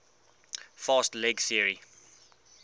fast leg theory